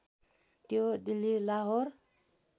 त्यो दिल्ली लाहोर